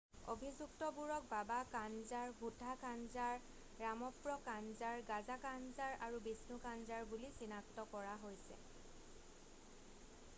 অভিযুক্তবোৰক বাবা কানজাৰ ভুঠা কানজাৰ, ৰামপ্ৰ কানজাৰ গাজা কানজাৰ আৰু বিষ্ণু কানজাৰ বুলি চিনাক্ত কৰা হৈছে।